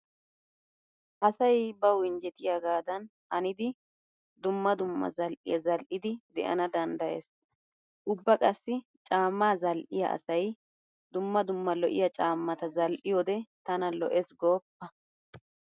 Asay bawu injjetiyagaadan hanidi dumma dumma zal"iya zal"idi de'ana danddayees. Ybba qassi caammaa zal"iya asay dumma dumma lo'iya caammata zal"iyode tana lo'ees gooppa.